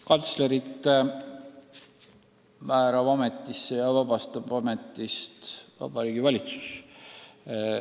Kantslerid määrab ametisse ja vabastab ametist Vabariigi Valitsus.